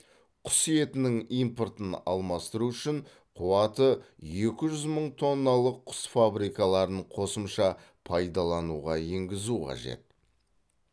құс етінің импортын алмастыру үшін қуаты екі жүз мың тонналық құс фабрикаларын қосымша пайдалануға енгізу қажет